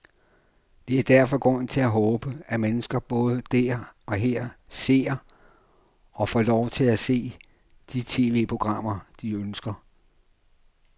Der er derfor grund til at håbe, at mennesker både der og her ser, og får lov til at se, de tv-programmer, de ønsker.